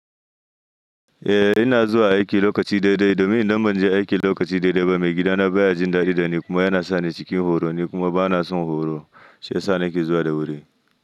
Eh ina zuwa aiki lokaci daidai, domin idan ban je aiki lokaci daidai ba, maigidana baya jin dadi da ni kuma yana sani cikin horo ne kuma bana son horo. Sai sa nake zuwa da wuri.